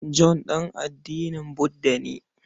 John ɗan addinin Budda ne.